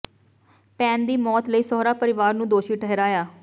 ਭੈਣ ਦੀ ਮੌਤ ਲਈ ਸਹੁਰਾ ਪਰਿਵਾਰ ਨੂੰ ਦੋਸ਼ੀ ਠਹਿਰਾਇਆ